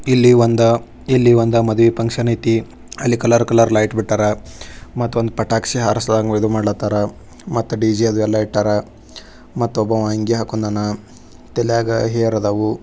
ಇಲ್ಲಿ ಬಂದ ಮದುವೆ ಫಂಕ್ಷನ್ ಐತೆ ಅಲ್ಲಿ ಕಲರ್ ಕಲರ್ ಲೈಟ್ ಬಿಟ್ಟವರ ಮತ್ತೊಂದ್ ಪಟಾಕಿ ಹಾರಿಸ್ದಂಗ್ ಇದು ಮಡ ಕಾತರ ಮತ್ತೆ ಡಿಜೆ ಅದು ಎಲ್ಲಾ ಇಟ್ಟರ ಅವರ ಒಬ್ಬ ಅಂಗಿ ಹಾಕೊಂಡವ್ನ ತಲೆಗ ಹೇರದವು.